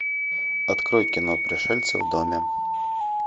открой кино пришельцы в доме